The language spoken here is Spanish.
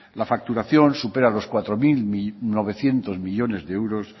la facturación supera los cuatro mil novecientos millónes de euros